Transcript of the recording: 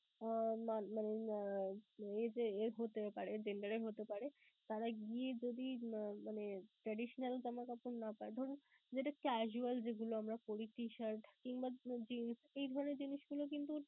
আহ মানে উম age এর হতে পারে, gender এর হতে পারে. তারা গিয়ে যদি মানে traditional জামাকাপড় না পায়, ধরুন যেটা casual যেগুলো আমরা পরি T-shirt কিংবা jeans এই ধরণের জিনিসগুলো কিন্তু